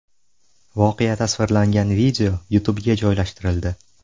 Voqea tasvirlangan video YouTube’ga joylashtirildi.